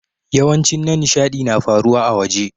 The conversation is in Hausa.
Yawancin na nishadi na faruwa a'waje.